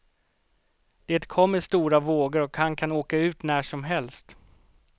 Det kommer stora vågor och han kan åka ut när som helst.